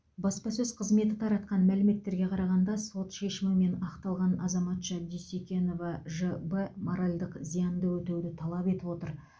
баспасөз қызметі таратқан мәліметтерге қарағанда сот шешімімен ақталған азаматша дюсекенова ж б моральдық зиянды өтеуді талап етіп отыр